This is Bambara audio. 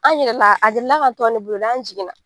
An yɛlɛla a delila ka tɔn ne bolo dɛ, an jigin na.